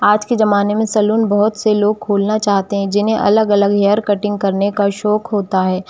आज के जमाने में सलून बहुत से लोग सालों खोलना चाहते हैंजिन्हें अलग-अलग हेयर कटिंग करने का शौक होता है।